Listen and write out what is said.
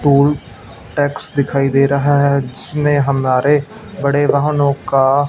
toll tax दिखाई दे रहा है जिसमें हमारे बड़े वाहनों का--